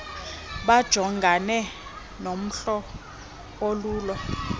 bajongane nomlo ololu